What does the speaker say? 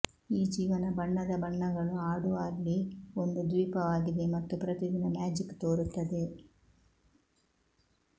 ಈ ಜೀವನ ಬಣ್ಣದ ಬಣ್ಣಗಳು ಆಡುವ ಅಲ್ಲಿ ಒಂದು ದ್ವೀಪವಾಗಿದೆ ಮತ್ತು ಪ್ರತಿದಿನ ಮ್ಯಾಜಿಕ್ ತೋರುತ್ತದೆ